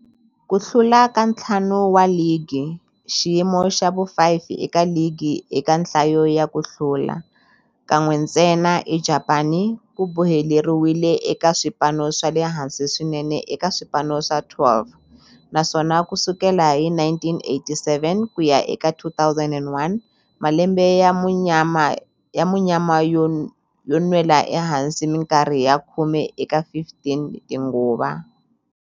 Ku hlula ka ntlhanu wa ligi, xiyimo xa vu-5 eka ligi eka nhlayo ya ku hlula, kan'we ntsena eJapani, ku boheleriwile eka swipano swa le hansi swinene eka swipano swa 12, naswona ku sukela hi 1987 ku ya eka 2001, malembe ya munyama yo nwela ehansi minkarhi ya khume eka 15 tinguva.